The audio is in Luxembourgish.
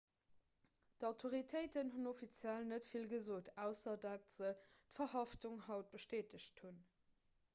d'autoritéiten hunn offiziell net vill gesot ausser datt se d'verhaftung haut bestätegt hunn